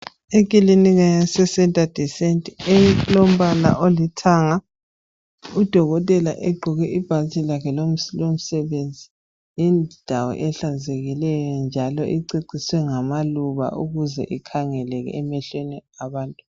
Ikilinika yaseCentre De Sante elombala olithanga udokotela egqoke ibhatshi lakhe lomsebenzi yindawo ehlanzekileyo njalo ececiswe ngamaluba ukuze ikhangeleke emehlweni abantu.